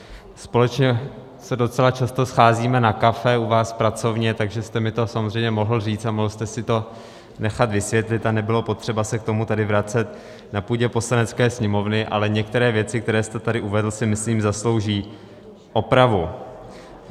Společně se docela často scházíme na kafe u vás v pracovně, takže jste mi to samozřejmě mohl říct a mohl jste si to nechat vysvětlit a nebylo potřeba se k tomu tady vracet na půdě Poslanecké sněmovny, ale některé věci, které jste tady uvedl, si myslím zaslouží opravu.